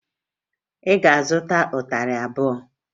Ị ga-azụta ịtarị abụọ!